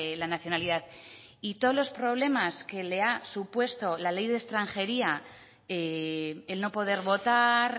la nacionalidad y todos los problemas que le ha supuesto la ley de extranjería el no poder votar